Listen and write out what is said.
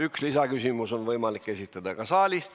Üks lisaküsimus on võimalik esitada ka saalist.